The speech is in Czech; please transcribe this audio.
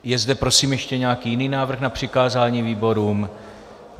Je zde, prosím, ještě nějaký jiný návrh na přikázání výborům?